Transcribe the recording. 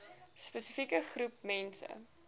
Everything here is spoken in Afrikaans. spesifieke groep mense